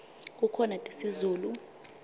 kukhona tesizulu